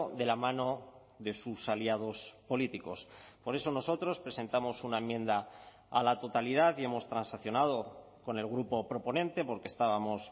de la mano de sus aliados políticos por eso nosotros presentamos una enmienda a la totalidad y hemos transaccionado con el grupo proponente porque estábamos